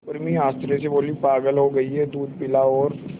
उर्मी आश्चर्य से बोली पागल हो गई है दूध पिला और